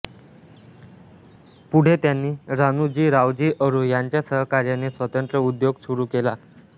पुढे त्यांनी राणूजी रावजी अरू ह्यांच्या सहकार्याने स्वतंत्र उद्योग सुरू केला